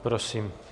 Prosím.